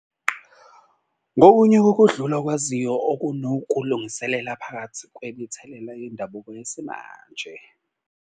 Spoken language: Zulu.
Ngokunye kokudlula okwaziyo okunokulungiselela phakathi kwemithelela yendabuko yesimanje.